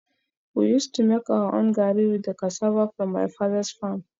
We used to make our own gari with the cassava from my father's farm